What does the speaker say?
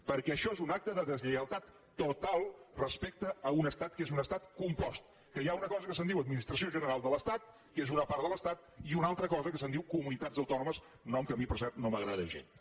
perquè això és un acte de deslleialtat total respecte a un estat que és un estat compost que hi ha una cosa que se’n diu administració general de l’estat que és una part de l’estat i una altra cosa que se’n diu comunitats autònomes nom que a mi per cert no m’agrada gens